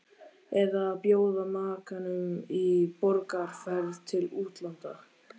Eða að bjóða makanum í borgarferð til útlanda.